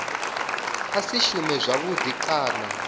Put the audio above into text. a si shume zwavhudi kana